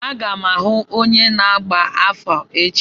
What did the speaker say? Aga m ahụ onye na-agba afa echi.